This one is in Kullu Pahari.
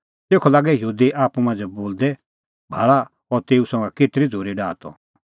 तेखअ लागै यहूदी आप्पू मांझ़ै बोलदै भाल़ा अह तेऊ संघा केतरी झ़ूरी डाहा त